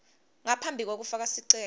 ngaphambi kwekufaka sicelo